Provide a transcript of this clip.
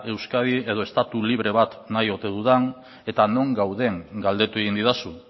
euskadi edo estatu libre bat nahi ote dudan eta non gauden galdetu egin didazu